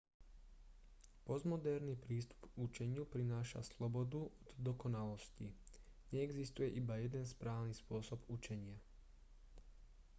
postmoderný prístup k učeniu prináša slobodu od dokonalosti neexistuje iba jeden správny spôsob učenia